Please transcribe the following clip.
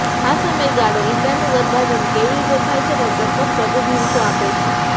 આ સમયગાળો ઇંડાનું ગર્ભાધાન કેવી રીતે થાય છે તે ચોક્કસ પ્રતિનિધિત્વ આપે છે